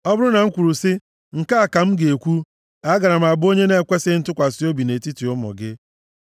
Ọ bụrụ na m kwuru sị, “Nke a ka m ga-ekwu,” agaara m abụ onye na-ekwesighị ntụkwasị obi nʼetiti ụmụ gị.